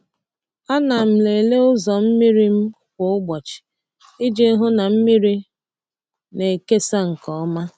A na m lelee ụzọ mmiri m kwa ụbọchị iji hụ na mmiri na-ekesa nke ọma.